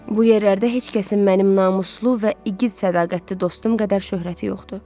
Bu yerlərdə heç kəsin mənim namuslu və igid sədaqətli dostum qədər şöhrəti yoxdur.